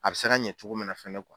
A bɛ se ka ɲɛ cogo min na fɛnɛ